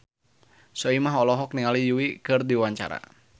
Soimah olohok ningali Yui keur diwawancara